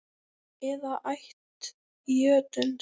eða ætt jötuns